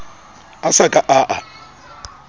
a sa ka a a